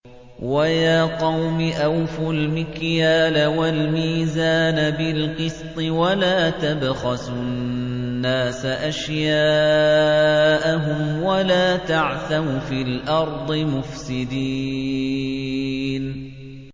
وَيَا قَوْمِ أَوْفُوا الْمِكْيَالَ وَالْمِيزَانَ بِالْقِسْطِ ۖ وَلَا تَبْخَسُوا النَّاسَ أَشْيَاءَهُمْ وَلَا تَعْثَوْا فِي الْأَرْضِ مُفْسِدِينَ